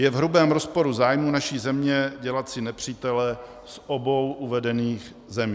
Je v hrubém rozporu zájmů naší země dělat si nepřítele z obou uvedených zemí.